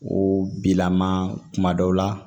O bilama kuma dɔw la